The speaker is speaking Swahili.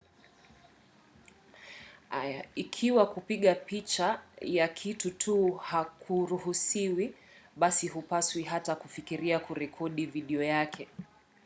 ikiwa kupiga picha ya kitu tu hakuruhusiwi basi hupaswi hata kufikiria kurekodi video yake